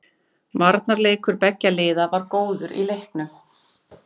Varnarleikur beggja liða var góður í leiknum.